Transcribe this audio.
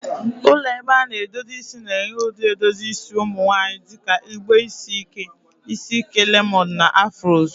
Ụlọ ebe a na-edozi isi na-enye ụdị edozi isi ụmụ nwanyị dị ka igbe isi ike, isi ike lemoned, na Afros.